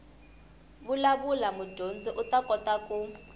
vulavula mudyondzi u kota ku